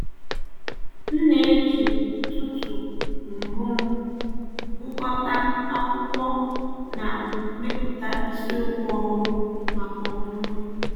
M na-eji ụtụtụ mbụ m gụkọta akwụkwọ na mepụta isiokwu ọhụrụ maka ọmụmụ.